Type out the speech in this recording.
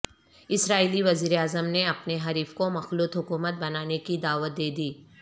اسرائیلی وزیراعظم نے اپنے حریف کو مخلوط حکومت بنانے کی دعوت دے دی